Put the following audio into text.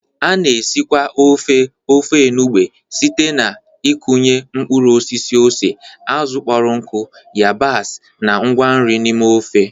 A na-esikwa ofe Ofe enugbe site n'ịkụnye mkpụrụ osisi ose, azụ̀ kpọrọ nkụ, yabasị, na ngwa nri n'ime ofe.